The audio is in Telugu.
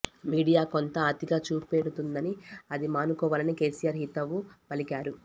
మీడియా కొంత అతిగా చూపెడుతుందని అది మానుకోవాలని కేసీఆర్ హితవు పలికారు